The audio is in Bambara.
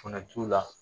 Fana t'u la